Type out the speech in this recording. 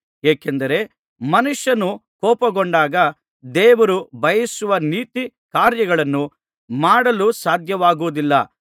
ಏಕೆಂದರೆ ಮನುಷ್ಯನು ಕೋಪಗೊಂಡಾಗ ದೇವರು ಬಯಸುವ ನೀತಿ ಕಾರ್ಯಗಳನ್ನು ಮಾಡಲು ಸಾಧ್ಯವಾಗುವುದಿಲ್ಲ